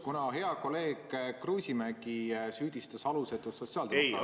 Kuna hea kolleeg Kruusimäe süüdistas alusetult sotsiaaldemokraate ...